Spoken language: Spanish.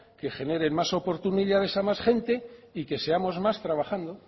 que generen más oportunidades a más gente y que seamos más trabajando